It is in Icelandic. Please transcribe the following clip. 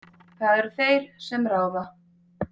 Það eru þeir sem ráða.